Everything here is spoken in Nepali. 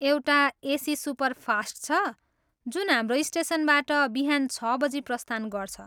एउटा एसी सुपरफास्ट छ जुन हाम्रो स्टेसनबाट बिहान छ बजी प्रस्थान गर्छ।